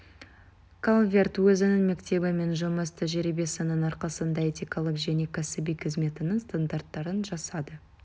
калверт өзінің мектебі мен жұмыс тәжірибесінің арқасында этикалық және кәсіби қызметінің стандарттарын жасады